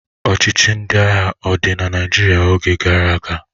Ọchịchị ndị agha ọ dị na Naịjirịa oge gara aga?